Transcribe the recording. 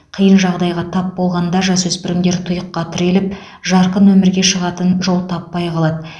қиын жағдайға тап болғанда жасөспірімдер тұйыққа тіреліп жарқын өмірге шығатын жол таппай қалады